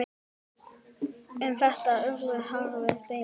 Um þetta urðu harðar deilur.